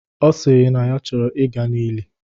Ọ sịrị na ya chọrọ ị ga n'ili